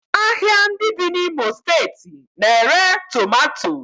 Ahịa ndị dị n'Imo steeti na-ere tomato